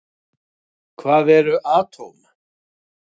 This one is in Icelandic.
Hvað eru atóm?